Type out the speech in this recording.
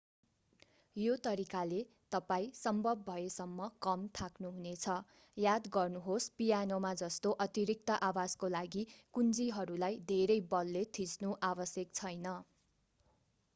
यो तरिकाले तपाईं सम्भव भएसम्म कम थाक्नुहुनेछ याद गर्नुहोस् पियानोमा जस्तो अतिरिक्त आवाजको लागि कुञ्जीहरूलाई धेरै बलले थिच्नु आवश्यक छैन